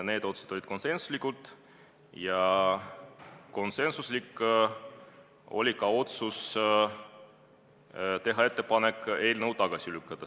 Need otsused olid konsensuslikud ja konsensuslik oli ka otsus teha ettepanek eelnõu tagasi lükata.